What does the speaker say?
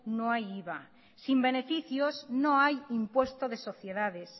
no hay iva sin beneficios no hay impuesto de sociedades